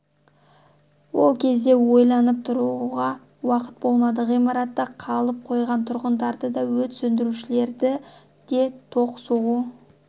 ол кезде ойланып тұруға уақыт болмады ғимаратта қалып қойған тұрғындарды да өрт сөндірушлерді де тоқ соғу